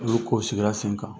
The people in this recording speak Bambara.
N'olu kow sigila sen kan.